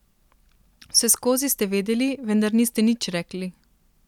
Vseskozi ste vedeli, vendar niste nič rekli.